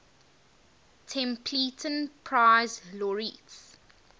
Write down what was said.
templeton prize laureates